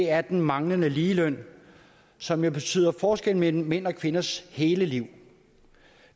er den manglende ligeløn som jo betyder en forskel mellem mænds og kvinders hele liv